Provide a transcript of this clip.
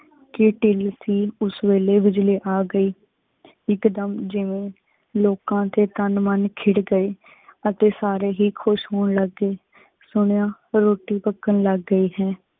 ਕੀ ਟਿਲ ਸੀ ਉਸ ਵੇਲੇ ਬਿਜਲੀ ਆ ਗਈ। ਇਕ ਦੁਮ ਜਿਵੇਂ ਲੋਕਾਂ ਦੇ ਤਨ ਮਨ ਖਿੜ ਗਏ। ਅਤੇ ਸਾਰੇ ਹੀ ਖੁਸ਼ ਹੋਣ ਲੱਗ ਗਏ। ਸੁਨਯਾ ਰੋਟੀ ਪਕਣ ਲਗ ਗਏ ਹੈ।